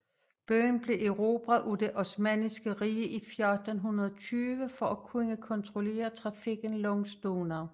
Byen blev erobret af det Osmanniske Rige i 1420 for at kunne kontrollere trafikken langs Donau